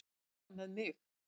Svo er með mig.